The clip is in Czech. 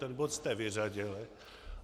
Ten bod jste vyřadili.